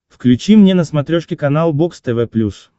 включи мне на смотрешке канал бокс тв плюс